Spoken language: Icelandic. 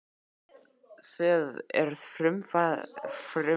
Það eru frumþarfir þínar sem við erum að tala um.